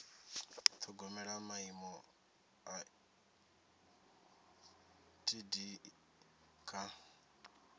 ṱhogomela maimo a etd kha